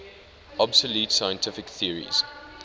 obsolete scientific theories